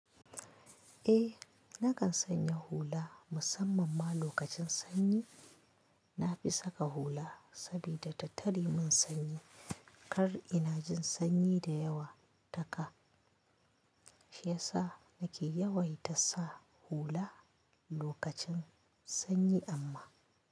Eh nakan sanya hula musamman ma lokacin sanyi. Na fi saka hula sabida tattare min sanyi kar ina jin sanyi da yawa ta ka. Shi yasa nake yawai ta sa hula lokacin sanyi amma.